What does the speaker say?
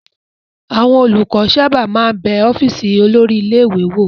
Àwọn olùkọ́ sábà máa ń bẹ ọ́fíísì olórí ilé-ìwé wò.